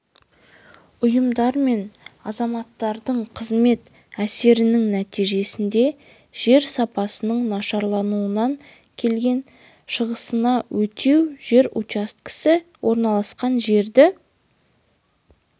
ұйымдар мен азаматтардың қызмет әсерінің нәтижесінде жер сапасының нашарлауынан келген шығасыны өтеу жер учаскесі орналасқан жердегі